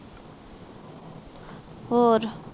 ਹੋਰ